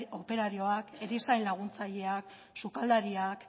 operarioak erizain laguntzaileak sukaldariak